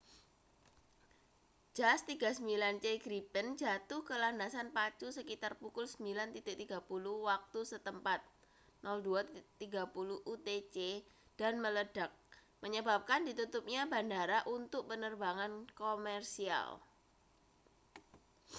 jas 39c gripen jatuh ke landasan pacu sekitar pukul 9.30 waktu setempat 0230 utc dan meledak menyebabkan ditutupnya bandara untuk penerbangan komersial